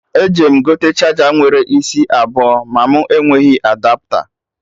Eje m gote charger nwere isi abụọ ma mụ enweghị Adapta